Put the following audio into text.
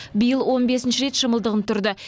биыл он бесінші рет шымылдығын түрді